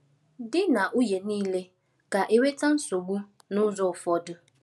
Di na nwunye niile ga-enweta nsogbu n’ụzọ ụfọdụ.